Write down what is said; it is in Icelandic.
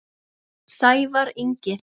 Sævar Ingi.